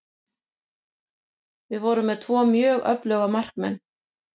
Við vorum með tvo mjög öfluga markmenn.